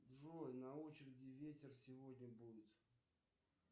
джой на очереди ветер сегодня будет